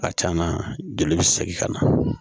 A can na joli bɛ segin ka na